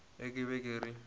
ge ke be ke re